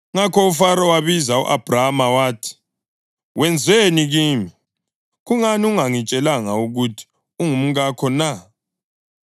Ngakho uFaro wabiza u-Abhrama wathi, “Wenzeni kimi? Kungani ungangitshelanga ukuthi ungumkakho na?